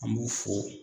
An b'u fo